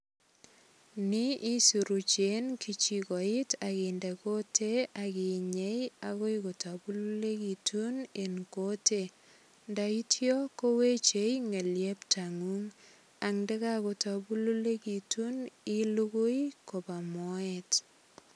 Ni isuruchi en kechigoit ak inde kutitit ak inyei agoi kotabululegitun en kutit. Ndaitya koweche ngelieptangung ak ndaga gotambululegitun ilugui koba moet.